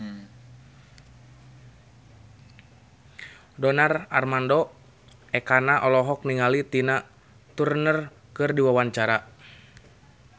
Donar Armando Ekana olohok ningali Tina Turner keur diwawancara